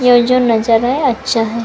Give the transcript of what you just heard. यह जो नजारा है अच्छा है।